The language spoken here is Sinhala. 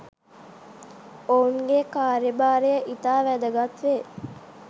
ඔවුන්ගේ කාර්යභාරය ඉතා වැදගත් වේ.